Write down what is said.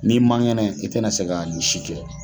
N'i mangɛnɛ i tɛna se ka nin si kɛ